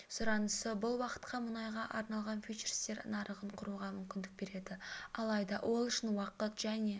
сұранысы бұл ұлтқа мұнайға арналған фьючерстер нарығын құруға мүмкіндік береді алайда ол үшін уақыт және